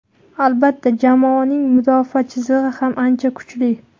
Albatta, jamoaning mudofaa chizig‘i ham ancha kuchli.